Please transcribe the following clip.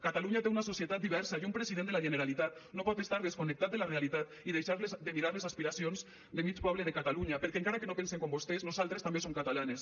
catalunya té una societat diversa i un president de la generalitat no pot estar desconnectat de la realitat i deixar de mirar les aspiracions de mig poble de catalunya perquè encara que no pensem com vostès nosaltres també som catalanes